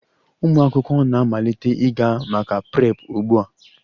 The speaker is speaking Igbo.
Ụmụ akwụkwọ na-amalite ịga maka Prep ugbu a!